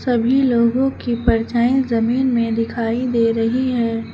सभी लोगो की परछाई जमीन में दिखाई दे रही है।